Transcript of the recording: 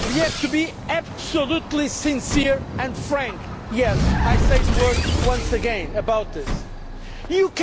So that is why we have to be absolutely sincere and frank. Yes, I say those words once again.